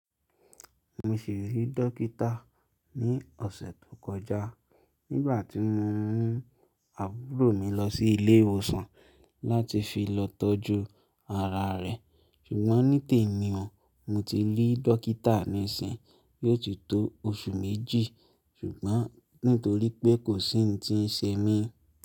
Mo sì rí dókítà ní ọ̀sẹ̀ tó kọjá nígbà tí mo mú àbúrò mi lọ sí ilé ìwòsàn láti fi lọ tọ́jú ara rẹ̀, ṣùgbọ́n ní tèmi o mo ti rí dókítà nísìnyí, yóò ti tó oṣù méjì ṣùgbọ́n nítorí pé kò sí ń tí ń ṣe mí.